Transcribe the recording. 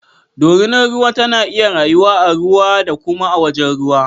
Dorinar ruwa tana iya rayuwa a ruwa da kuma a wajen ruwa